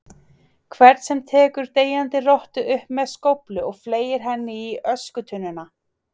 hvern sem tekur deyjandi rottu upp með skóflu og fleygir henni í öskutunnuna.